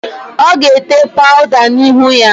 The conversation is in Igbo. Ọ ga-ete paụda n'ihu ya?